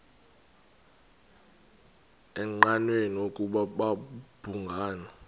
engqanweni ukuba babhungani